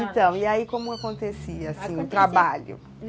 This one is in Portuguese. Então, e aí como acontecia, assim, o trabalho?